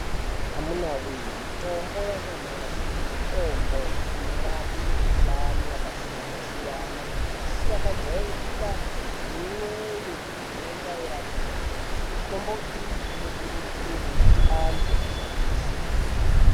Amunawee mitombo yanyamashi, mitombo inorape mikhuhlani yakasiyana-siyana isisakajairika neimweyo inonzi airapiki. Mitombo iyi inokurudzirwe kuti antu ashandise.